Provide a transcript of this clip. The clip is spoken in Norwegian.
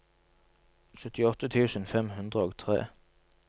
syttiåtte tusen fem hundre og tre